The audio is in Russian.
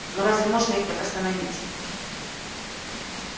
но разве можно их так остановить